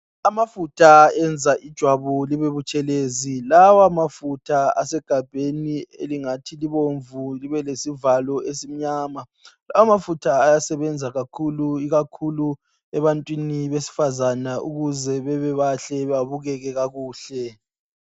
Amafutha enza ijwabu libe butshelezi. Lamafutha asegabheni elingathi libomvu libe lesivalo esimnyama. Ayasebenza kakhulu ebantwini besifazana ukuze babebahle babukeke.